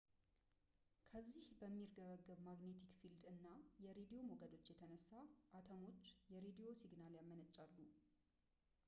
በዚህ በሚርገበገብ ማግኔቲክ ፊልድ እና የሬድዎ ሞገዶች የተነሳ አተሞች የሬድዎ ሲግናል ያመነጫሉ